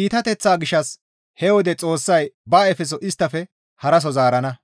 iitateththaa gishshas he wode Xoossay ba ayfeso isttafe haraso zaarana.